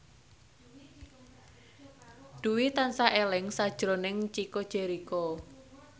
Dwi tansah eling sakjroning Chico Jericho